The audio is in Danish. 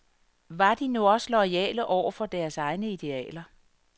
Var de nu også loyale over for deres egne idealer.